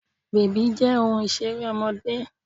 Bèbí jẹ́ ohun Ìṣeré ọmọdé